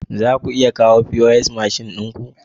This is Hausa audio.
Za ku iya kawo pos mashin ɗin ku?